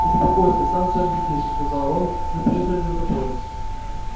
успокойся сам всё объяснишь сказал рон мы приехали за тобой